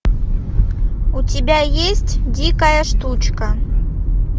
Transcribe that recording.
у тебя есть дикая штучка